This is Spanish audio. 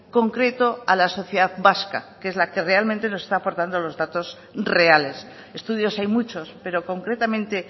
concreto a la sociedad vasca que es la que realmente nos está aportando los datos reales estudios hay muchos pero concretamente